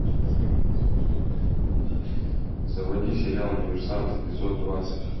заводи сериал диверсант эпизод двадцать